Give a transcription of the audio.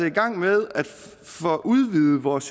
i gang med at udvide vores